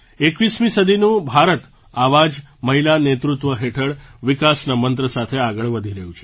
21મી સદીનું ભારત આવા જ મહિલા નેતૃત્વ હેઠળ વિકાસના મંત્ર સાથે આગળ વધી રહ્યું છે